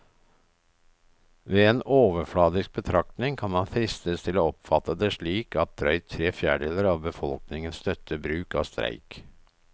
Ved en overfladisk betraktning kan man fristes til å oppfatte det slik at drøyt tre fjerdedeler av befolkningen støtter bruk av streik.